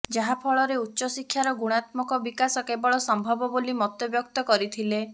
ଯାହାଫଳରେ ଉଚ୍ଚଶିକ୍ଷାର ଗୁଣାତ୍ମକ ବିକାଶ କେବଳ ସମ୍ଭବ ବୋଲି ମତବ୍ୟକ୍ତ କରିଥିଲେ